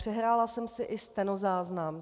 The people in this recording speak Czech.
Přehrála jsem si i stenozáznam.